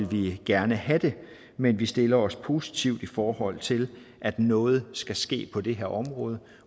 vi gerne have det men vi stiller os positivt i forhold til at noget skal ske på det her område